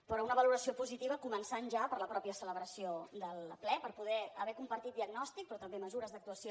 però una valoració positiva començant ja per la mateixa celebració del ple per poder haver compartit diagnòstic però també mesures d’actuació